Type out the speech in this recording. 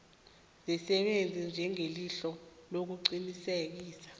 zisebenza njengelihlo lokuqinisekisa